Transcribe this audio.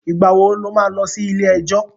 Ìgbà wo lo má lọ sí ilé-ẹjọ̀?